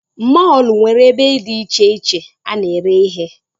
Mọlụ nwere ebe dị icheiche a na ere ihe